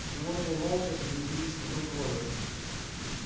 животные молча сгрудились вокруг кловер